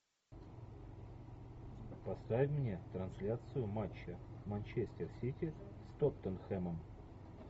поставь мне трансляцию матча манчестер сити с тоттенхэмом